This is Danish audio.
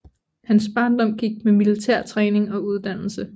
Hans barndom gik med militærtræning og uddannelse